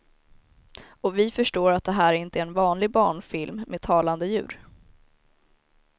Och vi förstår att det här är inte en vanlig barnfilm med talande djur.